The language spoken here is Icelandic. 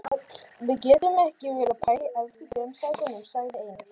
Við getum ekki verið að pæla í efstu tveim sætunum, sagði Einar.